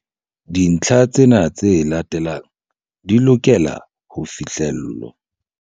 Dintlha tsena tse latelang di lokela ho fihlellwa.